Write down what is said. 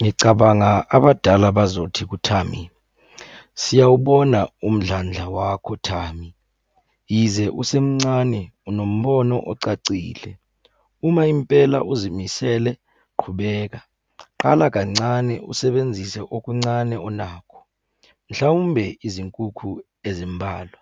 Ngicabanga abadala bazothi kuThami, siyawubona umdlandla wakhoThami. Yize usemncane unombono ocacile. Uma impela uzimisele, qhubeka. Qala kancane usebenzise okuncane onakho, mhlawumbe izinkukhu ezimbalwa.